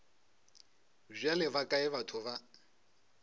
bjale ba kae batho ba